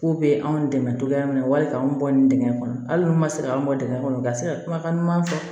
K'u bɛ anw dɛmɛ cogoya min na wali k'anw bɔ nin dingɛn kɔnɔ hali n'u ma se k'an bɔ dingɛ kɔnɔ u ka se ka kumakan ɲuman fɔ